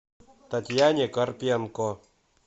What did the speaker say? татьяне карпенко